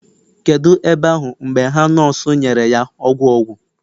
kedu ebe ahu mgbe ha nurse nyere ya ogwu ogwu?